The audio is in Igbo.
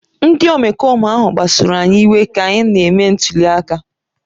Ndị omekome ahụ kpasuru anyị iwe ka anyị na-eme ntuli aka